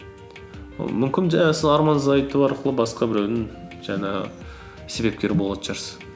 мүмкін жаңағы сіз арманыңызды айту арқылы басқа біреудің жаңағы себепкері болатын шығарсыз